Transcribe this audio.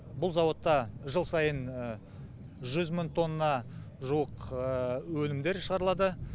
бұл зауытта жыл сайын жүз мың тонна жуық өнімдер шығарылады